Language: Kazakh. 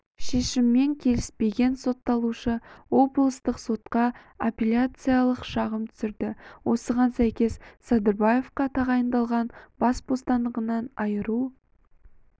шешіммен келіспеген сотталушы облыстық сотқа апелляциялық шағым түсірді осыған сәйкес садырбаевқа тағайындалған бас бостандығынан айыру